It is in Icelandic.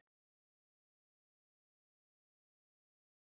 Gáttuð á honum að hafa ekki komið þessu út úr sér strax.